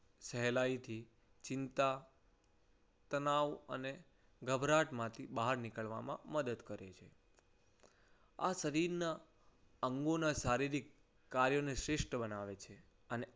સહેલાઈથી ચિંતા તણાવ અને ગભરાહટ માંથી બહાર નીકળવામાં મદદ કરે છે. આ શરીરના અંગોના શારીરિક કાર્યોને શ્રેષ્ઠ બનાવે છે. અને